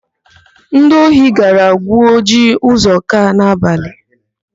Ndi ohi gara gwuo ji Ụzọka n'abalị.